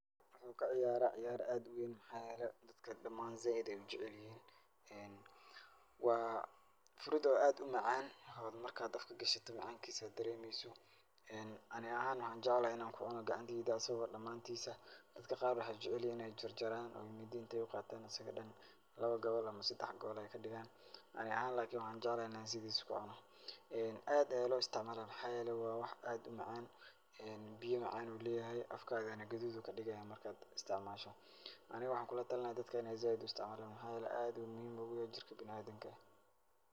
Waxan ka ciyaraa ciyaar aad u weyn maxaa yeelay, dadka dhamaan zaaid ayay u jeclihin. Waa fruit oo aad u macaan oo marka aad afka gashato macaankiisa dareemayso. Ani ahaan waxaan jeclahan in aan ku cuno gacanteyda asigo dhamaantiisa. Dadka qaar waxay jeclihin in ay jarjaraan oo mindi in ay u qaataan asig dhan laba gobol ama sedax gobol ay kadhigan. Ani ahaan lakini waxaan jeclahay in ay sidiisa ku cuno. Ee aad ayaa loo istacmalaa, maxaa yeelay waa wax aad u macaan biyo macaan ayuu leeyahay, afkaagana gudud ayuu ka dhigayaa marka aad istacmaasho. Ani waxaan ku la talin lahaa dadka in ay aad u istacmalaan maxaa yeelay aad ayuu muhiim ugu yahay jirka bina'aadinka.